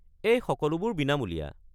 এই সকলোবোৰ বিনামূলীয়া।